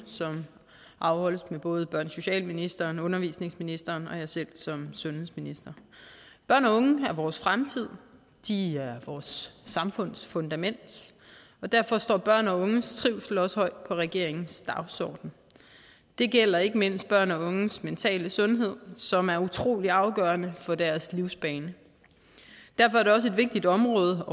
som afholdes med både børne og socialministeren undervisningsministeren og mig selv som sundhedsminister børn og unge er vores fremtid de er vores samfunds fundament og derfor står børn og unges trivsel også regeringens dagsorden det gælder ikke mindst børn og unges mentale sundhed som er utrolig afgørende for deres livsbane derfor er det også et vigtigt område